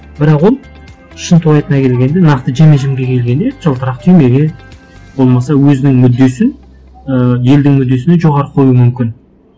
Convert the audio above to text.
бірақ ол шынтуайтына келгенде нақты жеме жемге келгенде жылтырақ түймеге болмаса өзінің мүддесін ы елдің мүддесінен жоғары қоюы мүмкін